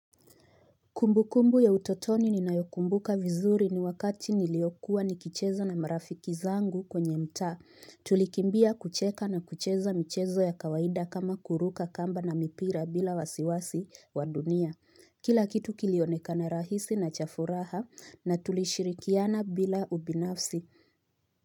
Kumbukumbu ya utotoni ninayokumbuka vizuri ni wakati niliokuwa nikicheza na marafiki zangu kwenye mtaa. Tulikimbia kucheka na kucheza michezo ya kawaida kama kuruka kamba na mipira bila wasiwasi wa dunia. Kila kitu kilionekana rahisi na cha furaha na tulishirikiana bila ubinafsi.